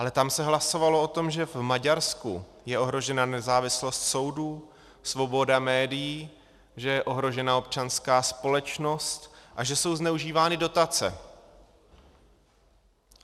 Ale tam se hlasovalo o tom, že v Maďarsku je ohrožena nezávislost soudů, svoboda médií, že je ohrožená občanská společnost a že jsou zneužívány dotace.